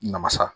Namasa